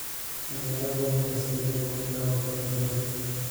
ciyaaro podcast-kayga ugu daawashada badan